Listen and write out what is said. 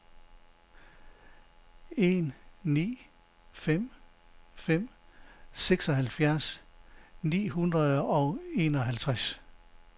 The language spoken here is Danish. en ni fem fem seksoghalvfjerds ni hundrede og enoghalvtreds